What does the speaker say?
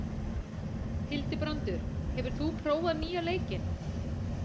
Hildibrandur, hefur þú prófað nýja leikinn?